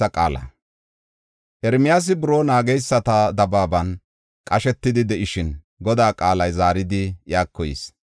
Ermiyaasi buroo naageysata dabaaban qashetidi de7ishin, Godaa qaalay zaaridi iyako yis.